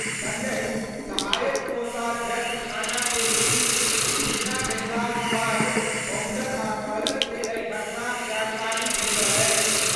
संगहि सहायक कोषाध्यक्ष थाना के पुलिस सूचना भेटलाक बाद पहुंचल आ कहलक जे एहि घटनाक जानकारी भेटल अछि।